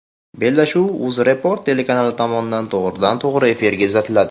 Bellashuv UzReport telekanali tomonidan to‘g‘ridan to‘g‘ri efirda uzatiladi.